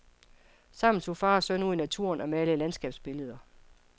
Sammen tog far og søn ud i naturen og malede landskabsbilleder.